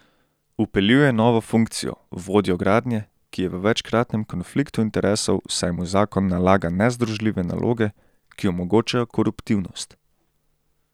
Vpeljuje novo funkcijo, vodjo gradnje, ki je v večkratnem konfliktu interesov, saj mu zakon nalaga nezdružljive naloge, ki omogočajo koruptivnost.